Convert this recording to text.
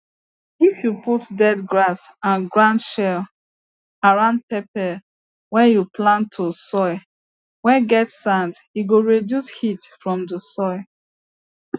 if you put dead grass and ground sheel around peppers whey you plans to soil whey get sand he go reduce heat from the sun